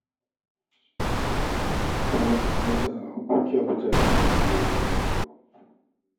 Ki kama ƙaramar sana'a ko kya huta da wannan matsaloli na rayuwa